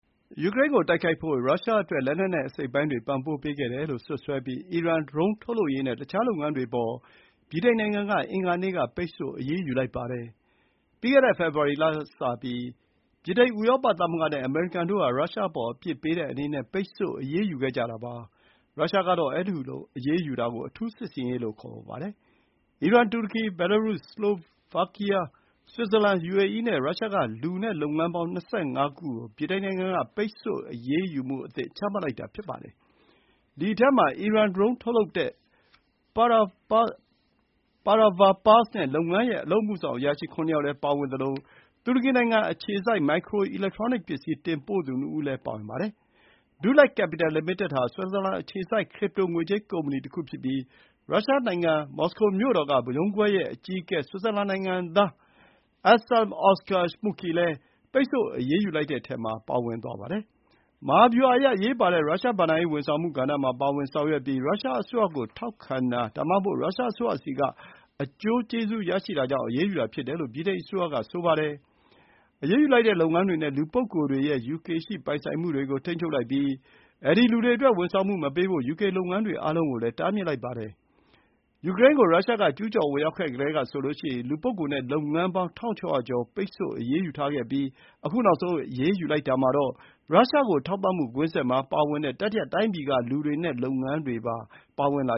ယူကရိန်းကိုတိုက်ခိုက်ဖို့ ရုရှားအတွက် လက်နက်နဲ့အစိတ်အပိုင်းတွေပံ့ပိုးခဲ့တယ်လို့စွပ်စွဲပြီး အီရန် ဒရုန်းထုတ်လုပ်ရေးနဲ့ တခြားလုပ်ငန်းတွေအပေါ် ဗြိတိန်နိုင်ငံ က အင်္ဂါနေ့က ပိတ်ဆို့အရေးယူလိုက်ပါတယ်။ ရုရှားက အထူးစစ်ဆင်ရေးလို့ခေါ် ဆိုပြီး ယူကရိန်းကို ဝင်ရောက်တိုက်ခိုက်ခဲ့တဲ့ ပြီးခဲ့တဲ့ ဖေဖော်ဝါရီလကစပြီး ဗြိတိန်၊ ဥရောပသမဂ္ဂနဲ့ အမေရိကန်တို့ဟာ ရုရှားအပေါ်အပြစ်ပေးတဲ့အနေနဲ့ ပိတ်ဆို့အရေးယူခဲ့ကြတာပါ။ အီရန်၊ တူရကီ၊ ဘယ်လာရု၊ စလိုဗားကီးယား၊ ဆွစ်ဇာလန်၊ ယူအေအီးနဲ့ ရုရှားက လူနဲ့လုပ်ငန်းပေါင်း ၂၅ ခု ကို ဗြိတိန်နိုင်ငံက ပိတ်ဆို့အရေးယူမှုအသစ် ချမှတ်လိုက်တာ ဖြစ်ပါတယ်။ ဒီအထဲမှာ အီရန်ဒရုန်းထုတ်လုပ်တဲ့ Paravar Pars နဲ့ လုပ်ငန်းရဲ့အလုပ်အမှုဆောင်အရာရှိ ၇ ယောက်လည်း ပါဝင်သလို တူရကီနိုင်ငံအခြေစိုက် မိုက်ခရို အီလက်ထရောနစ် ပစ္စည်းတင်ပို့သူ ၂ ဦးလည်း ပါဝင်ပါတယ်။ DuLac Capital Ltd ဟာ ဆွစ်ဇာလန်အခြေစိုက် ခရစ်ပ်တို ငွေကြေးကုမ္ပဏီတခုဖြစ်ပြီး ရုရှားနိုင်ငံ မော်စကိုမြို့တော်က ရုံးခွဲရဲ့ အကြီးအကဲ ဆွစ်ဇာလန်နိုင်ငံသား Anselm Oskar Schmucki လည်း ပိတ်ဆို့အရေးယူလိုက်တဲ့အထဲမှာ ပါဝင်ပါတယ်။ မဟာဗျူဟာအရ အရေးပါတဲ့ ရုရှားဘဏ္ဍာရေးဝန်ဆောင်မှုကဏ္ဍမှာ ပါဝင်ဆောင်ရွက်ပြီး ရုရှားအစိုးရကို ထောက်ခံတာ ဒါမှမဟုတ် ရုရှားအစိုးရဆီက အကျိုးကျေးဇူးရရှိတာကြောင့် အရေးယူတာဖြစ်တယ်လို့ ဗြိတိန်အစိုးရက ဆိုပါတယ်။ အရေးယူလိုက်တဲ့လုပ်ငန်းတွေနဲ့ လူပုဂ္ဂိုလ်တွေရဲ့ ယူကေရှိ ပိုင်ဆိုင်မှုတွေ ကို ထိန်းချုပ်လိုက်ပြီး အဲဒီလူတွေအတွက် ဝန်ဆောင်မှုမပေးဖို့ ယူကေလုပ်ငန်းတွေ အားလုံးကို တားမြစ်လိုက်ပါတယ်။ ယူကရိန်းကို ရုရှားက ကျူးကျော်ဝင်ရောက်ခဲ့ကတည်းကဆိုရင် လူပုဂ္ဂိုလ်နဲ့ လုပ်ငန်းပေါင်း ၁,၆၀၀ ကျော်ကို ပိတ်ဆို့အရေးယူခဲ့ပြီး ခု နောက်ဆုံး အရေးယူလိုက်တာမှာတော့ ရုရှားကို ထောက်ပံ့မှုကွင်းဆက်မှာပါတဲ့ တတိယတိုင်းပြည်က လူတွေနဲ့ လုပ်ငန်းတွေပါတင်လာ